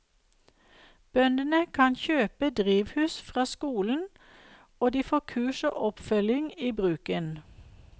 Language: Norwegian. Bøndene kan kjøpe drivhus fra skolen og de får kurs og oppfølging i bruken.